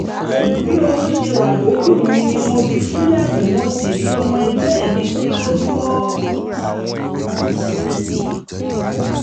pẹ̀lú bí oorun ṣe wà lójú mi ni mo fi ṣílẹ̀kùn mo sì rí ọmọ ẹgbẹ́ mi tí ó dúró